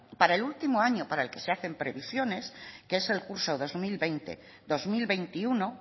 para el último año para el que se hacen previsiones que es el curso dos mil veinte dos mil veintiuno